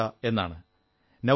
പാർഥ്ഷാ എന്നാണ്